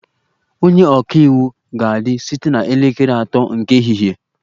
Onye ọka iwu ga-adị site na elekere atọ nke ehihie